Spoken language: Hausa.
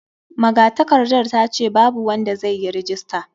Magatakardar ta ce babu wanda zai yi rajista.